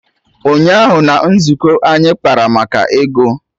Ụnyaahụ na nzukọ anyị kpara maka ego